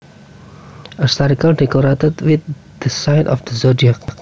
A circle decorated with the signs of the zodiac